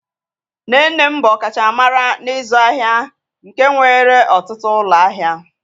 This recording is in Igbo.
Nne nne m bụ ọkachamara n'ịzụ ahịa nke nwere ọtụtụ ụlọ ahịa.